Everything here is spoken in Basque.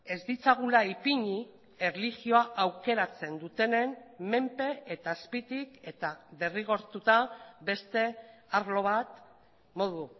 ez ditzagula ipini erlijioa aukeratzen dutenen menpe eta azpitik eta derrigortuta beste arlo bat modu